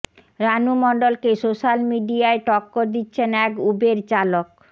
রানু মণ্ডলকে সোশ্যাল মিডিয়ায় টক্কর দিচ্ছেন এক উবের চালক